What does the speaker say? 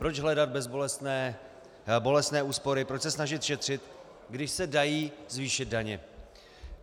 Proč hledat bolestné úspory, proč se snažit šetřit, když se dají zvýšit daně?